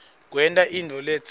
kwenta intfo letsite